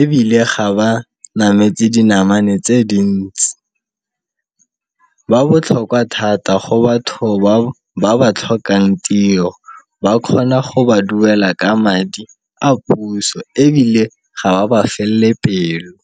ebile ga ba nametse dinamane tse dintsi. Ba botlhokwa thata go batho ba ba ba tlhokang tiro ba kgona go ba duela ka madi a puso ebile ga ba ba felle pelo.